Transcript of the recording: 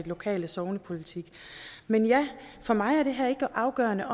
lokale sognepolitik men ja for mig er det afgørende